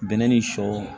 Bɛnɛ ni sɔ